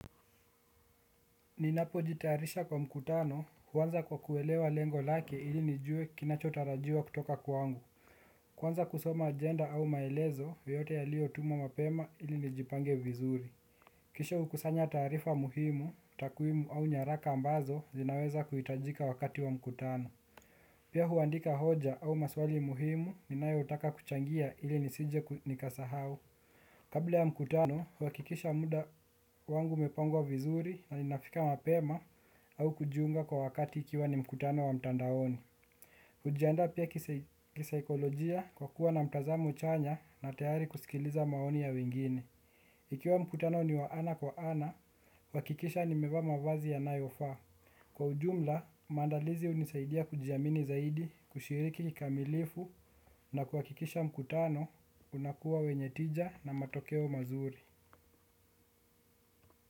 Ninapojitayarisha kwa mkutano huanza kwa kuelewa lengo lake ili nijue kinachotarajiwa kutoka kwangu. Kwanza kusoma ajenda au maelezo yoyote yaliyotumwa mapema ili nijipange vizuri. Kisha hukusanya taarifa muhimu, takwimu au nyaraka ambazo zinaweza kuhitajika wakati wa mkutano. Pia huandika hoja au maswali muhimu ninayotaka kuchangia ili nisije nikasahau. Kabla ya mkutano, huhakikisha muda wangu umepangwa vizuri na ninafika mapema au kujiunga kwa wakati ikiwa ni mkutano wa mtandaoni. Hujiandaa pia kisaikolojia kwa kuwa na mtazamo chanya na tayari kusikiliza maoni ya wengine. Ikiwa mkutano ni wa ana kwa ana, huhakikisha nimevaa mavazi yanayofaa. Kwa ujumla, maandalizi hunisaidia kujiamini zaidi, kushiriki kikamilifu na kuhakikisha mkutano unakuwa wenye tija na matokeo mazuri.